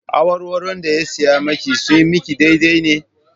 Awarwaron da ya saya maki sun maki daidai ne?